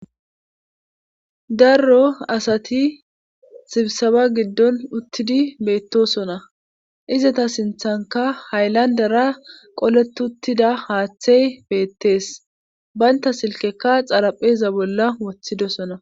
Daro asati sibisabe giddon uttidi beettosona izata siinththankka hayllandara qoleti uttida haaththey beettees baynta silkeka xarapheeza bolla woththidosona